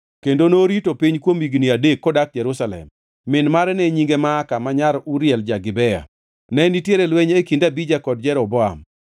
kendo norito piny kuom higni adek kodak Jerusalem. Min mare ne nyinge Maaka ma nyar Uriel ja-Gibea. Ne nitiere lweny e kind Abija kod Jeroboam.